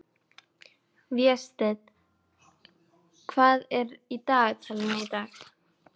Vésteinn, hvað er í dagatalinu í dag?